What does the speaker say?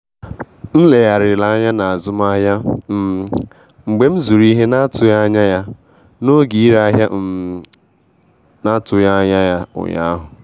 M legharịrị anya n'azụmahịa um m mgbe m zụrụ ihe na-atụghị anya ya n'oge ire ahịa um na-atụghị anya ya ụnyaahụ